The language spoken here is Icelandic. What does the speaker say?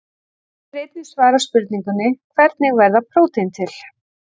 Hér er einnig svarað spurningunum: Hvernig verða prótín til?